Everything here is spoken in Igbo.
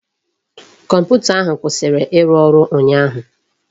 Kọmputa ahụ kwụsịrị ịrụ ọrụ ụnyaahụ